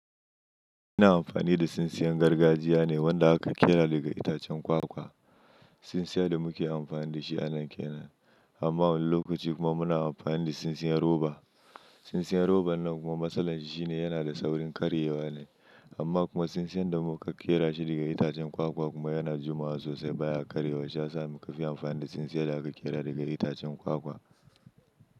Ina amfani da tsintsiyan gargajiya ne wanda aka ƙera daga itacen kwakwa. Tsintsiya da muke amfani da shi a nan ƙena, amma wani lokaci kuma muna amfani da tsintsiyar roba. Tsintsiyar roba nan kuma matsalar shi shine, yana da saurin karyewa ne. Amma kuma tsintsiyan da muka ƙera shi daga itacen kwakwa kuma yana jima'a sosai baya karyewa shiyasa muka fi amfani da tsintsiyar da aka ƙera daga itacen kwakwa.